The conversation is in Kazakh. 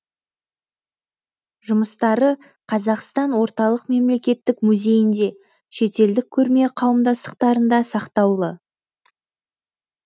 жұмыстары қазақстан орталық мемлекеттік музейінде шетелдік көрме қауымдастықтарында сақтаулы